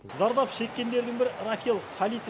зардап шеккендердің бірі рафил халит